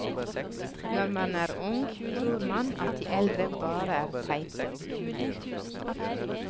Når man er ung, tror man at de eldre bare er teite og dumme.